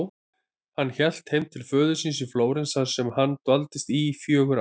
Hann hélt heim til föður síns í Flórens þar sem hann dvaldist í fjögur ár.